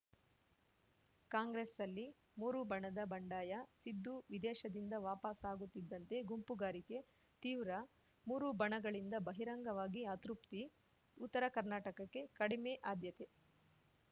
ಕಾಂಗ್ರೆಸ್ಸಲ್ಲಿ ಮೂರು ಬಣದ ಬಂಡಾಯ ಸಿದ್ದು ವಿದೇಶದಿಂದ ವಾಪಸಾಗುತ್ತಿದ್ದಂತೆ ಗುಂಪುಗಾರಿಕೆ ತೀವ್ರ ಮೂರು ಬಣಗಳಿಂದ ಬಹಿರಂಗವಾಗಿ ಅತೃಪ್ತಿ ಉತ್ತರ ಕರ್ನಾಟಕಕ್ಕೆ ಕಡಿಮೆ ಆದ್ಯತೆ